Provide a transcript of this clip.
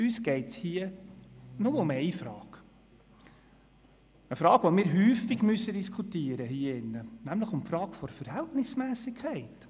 Uns geht es hier nur um eine Frage – eine Frage, die wir hier oft diskutieren müssen, nämlich die Frage der Verhältnismässigkeit.